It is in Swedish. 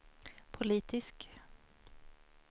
politisk